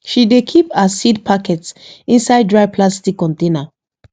she dey keep her seed packets inside dry plastic container